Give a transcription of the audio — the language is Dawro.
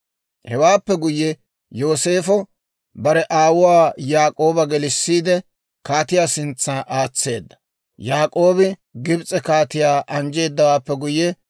Hewaappe guyye, Yooseefo bare aawuwaa Yaak'ooba gelissiide, kaatiyaa sintsa aatseedda. Yaak'oobi Gibs'e kaatiyaa anjjeedawaappe guyye,